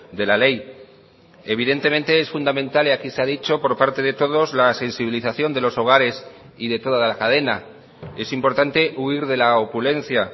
de la ley evidentemente es fundamental y aquí se ha dicho por parte de todos la sensibilización de los hogares y de toda la cadena es importante huir de la opulencia